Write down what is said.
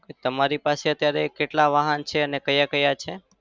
તમારી પાસે અત્યારે કેટલા વાહન છે અને કયા-કયા છે?